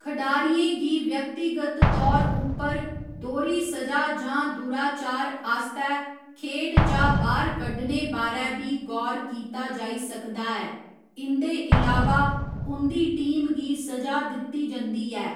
खडारियें गी व्यक्तिगत तौर उप्पर दोह्‌री स'जा जां दुराचार आस्तै खेढ चा बाह्‌र कड्ढने बारै बी गौर कीता जाई सकदा ऐ, इं'दे इलावा उं'दी टीम गी स'जा दित्ती जंदी ऐ।